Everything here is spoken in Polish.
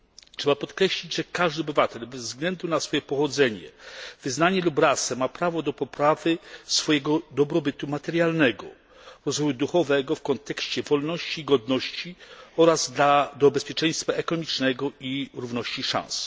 Trzeba podkreślić, że każdy obywatel, bez względu na swoje pochodzenie, wyznanie lub rasę ma prawo do poprawy swojego dobrobytu materialnego, rozwoju duchowego w kontekście wolności, godności oraz do bezpieczeństwa ekonomicznego i równości szans.